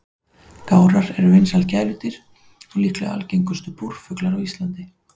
Gárar eru vinsæl gæludýr og líklega algengustu búrfuglar á Íslandi.